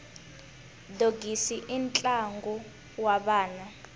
dogisi i ntlangu wa vana